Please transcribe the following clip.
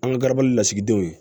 An ka garabali lasigidenw ye